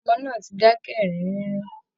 Ọmọ náà ti dákẹ́ ẹ̀rín rínrín